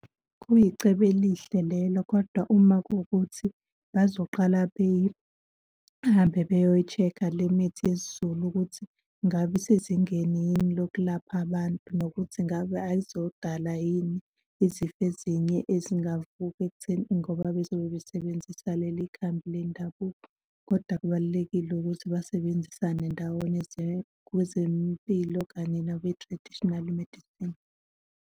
Kuyicebo elihle lelo kodwa uma kuwukuthi bazoqala behambe beyoyi-check-a le mithi yesiZulu ukuthi ngabe isezingeni yini lokulapha abantu nokuthi ingabe ayizodala yini izifo ezinye ezingavuka ekutheni ngoba bezobe besebenzisa leli khambi lendabuko. Kodwa kubalulekile ukuthi basebenzisane ndawonye kwezempilo kanye nakwi-traditional medicine.